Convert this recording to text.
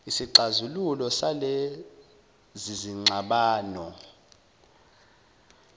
isixazululo salezi zingxabano